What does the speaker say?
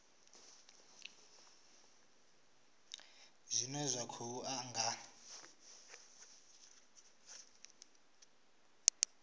zwine zwa khou ḓa nga